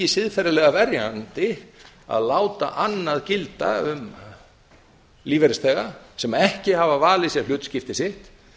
siðferðislega verjandi að láta annað gilda um lífeyrisþega sem ekki hafa valið sér hlutskipti sitt